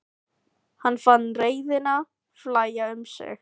Hann fann reiðina flæða um sig.